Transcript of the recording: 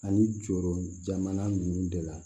Ani jɔrɔ jamana ninnu de la